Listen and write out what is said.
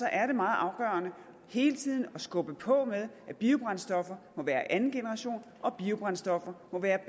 er det meget afgørende hele tiden at skubbe på med at biobrændstoffer må være af anden generation og at biobrændstoffer må være